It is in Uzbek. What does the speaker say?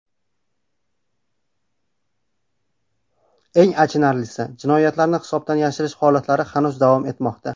Eng achinarlisi, jinoyatlarni hisobdan yashirish holatlari hanuz davom etmoqda.